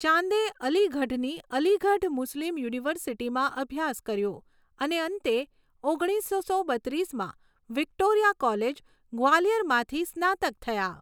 ચાંદે અલીગઢની અલીગઢ મુસ્લિમ યુનિવર્સિટીમાં અભ્યાસ કર્યો અને અંતે ઓગણીસસો બત્રીસમાં વિક્ટોરિયા કોલેજ, ગ્વાલિયરમાંથી સ્નાતક થયા.